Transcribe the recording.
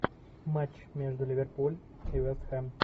матч между ливерпуль и вестхэм